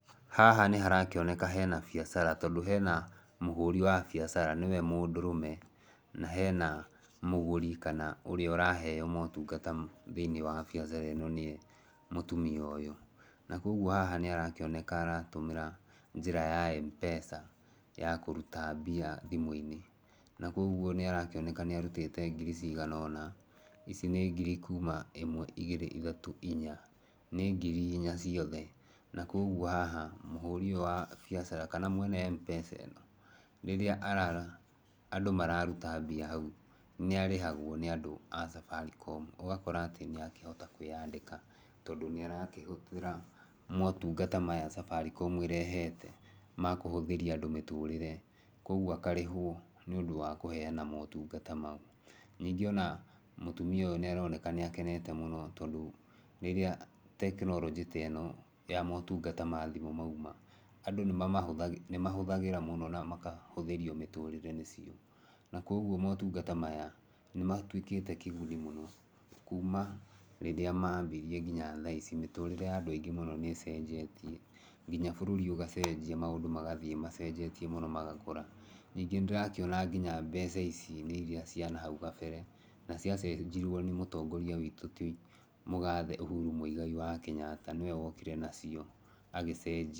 Haha nĩ harakĩoneka hena biacara, tondũ hena mũhũri wa biacara nĩwe mũndũrũme, na hena mũgũri kana ũrĩa ũraheeo motungata thĩiniĩ wa biacara ĩno nĩe mũtumia ũyũ. Na kũguo haha nĩ arakĩonaka aratũmĩra njĩra ya M-Pesa ya kũruta mbia thimũ-inĩ. Na kũguo nĩ arakĩoneka nĩ arutĩte ngiri cigana ũna. Ici nĩ ngiri kuuma ĩmwe, igĩrĩ, ithatũ, inya. Nĩ ngiri inya ciothe. Na kũguo haha, mũhũri ũyũ wa biacara, kana mwena M-Pesa ĩno, rĩrĩa andũ mararuta mbia hau, nĩ arĩhagwo nĩ andũ a Safaricom. Ũgakora atĩ nĩ akĩhota kwĩyandĩka, tondũ nĩ arakĩhũthĩra motungata maya Safaricom ĩrehete, ma kũhũthĩria andũ mĩtũrĩre. Kũguo akarĩhwo nĩ ũndũ wa kũheana motungata mau. Ningĩ ona mũtumia ũyũ nĩ aroneka nĩ akenete mũno tondũ, rĩrĩa tekinoronjĩ ta ĩno ya motungata ma thimũ mauma, andũ nĩ mamahũthagĩra, nĩ mahũthagĩra mũno na makahũthĩrio mĩtũrĩre nĩcio. Na kũguo motungata maya, nĩ matuĩkĩte kĩguni mũno, kuuma rĩrĩa mambirie nginya thaa ici, mĩtũrĩre ya andũ aingĩ mũno nĩ ĩcenjetie. Nginya bũrũri ũgacenjia, maũndũ magathiĩ macenjetie mũno magakũra. Ningĩ nĩ ndĩrakĩona nginya mbeca ici nĩ irĩa cia nahau gabere, na ciacenjirwo nĩ mũtongoria witũ ti mũgathe Uhuru Muigai wa Kenyatta, nĩwe wokire nacio agĩcenjia.